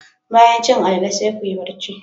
Bayan cin alalle, sai kuyi bacci.